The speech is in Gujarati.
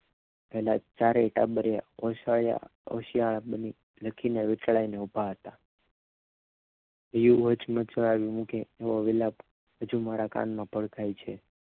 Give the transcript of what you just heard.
પહેલા ચારે ટાબરિયા ઓસરિ ઓસરિયાળા બની લખીને વીંટળાઈને ઉભા હતા એ હચમચાવી મૂકે એવો વિલાપ હજી મારા કાન માં ભડકાય છે